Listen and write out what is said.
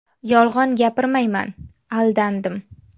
Yolg‘on gapirmayman, aldandim.